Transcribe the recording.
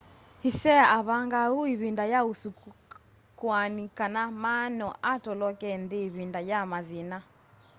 hsieh avangaa uu ivinda ya usakuani kana ma no atoloke nthi ivinda ya mathina